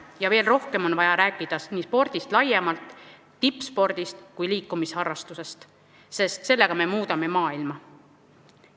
Ja veel rohkem on vaja rääkida nii spordist laiemalt, tippspordist kui liikumisharrastusest, sest sellega me muudame maailma.